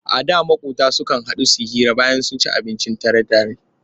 A da maƙota sukan haɗu su hira bayan sun ci abincin dare tare.